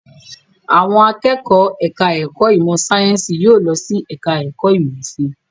Àwọn akẹ́kọ̀ọ́ ẹ̀ka-ẹ̀kọ́ ìmọ̀-sáyẹ́ńsì yóò lọ sí ẹ̀ka-ẹ̀kọ́ ìmọ̀-òfin.